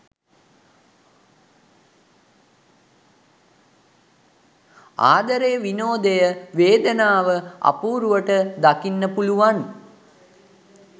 ආදරය විනෝදය වේදනාව අපූරුවට දකින්න පුළුවන්.